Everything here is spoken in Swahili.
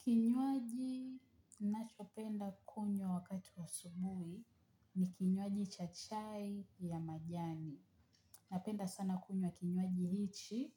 Kinywaji nachopenda kunywa wakati wa asubuhi ni kinywaji cha chai ya majani. Napenda sana kunywa kinywaji hichi